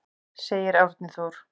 Segir Árni Þór.